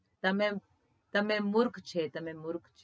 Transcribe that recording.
તમે તમે મુર્ખ છે